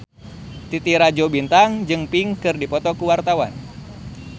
Titi Rajo Bintang jeung Pink keur dipoto ku wartawan